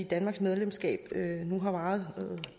danmarks medlemskab nu har varet